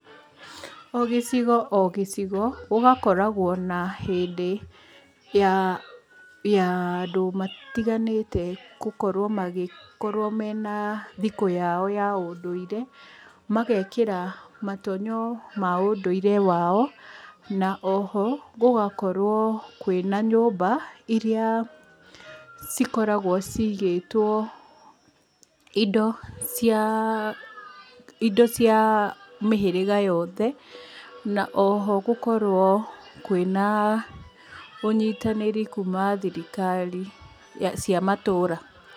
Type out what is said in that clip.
O gĩcigo o gĩcigo gũgakoragwo na hĩndĩ ya ya andũ matiganĩte gũkorwo magĩkorwo mena thikũ yao ya ũndũire, magekĩra matonyo ma ũndũire wao. Na oho, gũgakorwo kwĩna nyũmba iria cikoragwo cigĩtwo indo cia indo cia mĩhĩrĩga yothe. Na oho gũkorwo kwĩna ũnyitanĩri kuma thirikari cia matũũra.